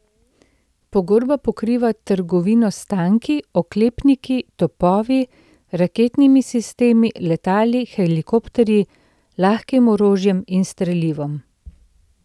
Pogodba pokriva trgovino s tanki, oklepniki, topovi, raketnimi sistemi, letali, helikopterji, lahkim orožjem in strelivom.